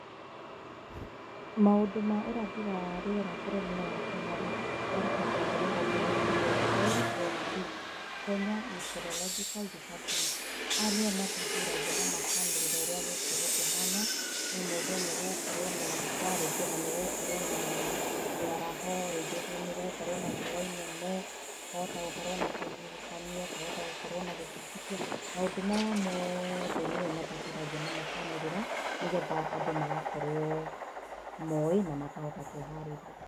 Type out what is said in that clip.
Maũndũ ma ũrathi wa rĩera bũrũrinĩ wa Kenya rĩ marutagwo nĩ rũhonge rwĩtagwo Kenya meteorological department. Aya nĩo mathuthuragia na makanĩrĩra ũrĩa gũgũkorwo kũhana. No mauge nĩ gũgũkorwo na mbura, rĩngĩ ũna nĩ gũgũkorwo na mĩaraho, rĩngĩ nĩ gũgũkorwo na riũwa inene, kwahota gũkorwo na kĩhuhũkanio, kwahota gũkorwo na gĩthingithia. Maũndũ maya mothe nio mathuthuragia na makanĩrĩra nĩgetha andũ magakorwo moĩ na makahũta kwĩharĩria.